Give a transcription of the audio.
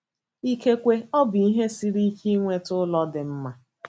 Ikekwe ọ bụ ihe siri ike ịnweta ụlọ dị mma.